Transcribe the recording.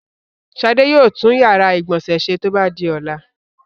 Ṣadé yóò tún ìyàrá-ìgbọ̀nsẹ̀ ṣe tó bá di ọ̀la.